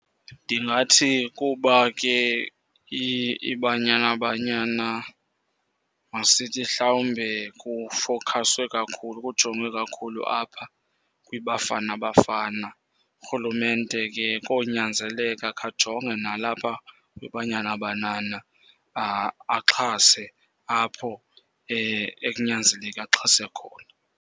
Ndingathi kuba ke iBanyana Banyana, masithi hlawumbe kufowukhaswe kakhulu, kujongwe kakhulu apha kwiBafana Bafana. Urhulumente ke konyanzeleka akhe ajonge nalapha kwiBanyana Banyana, axhase apho ekunyanzeleke axhase khona.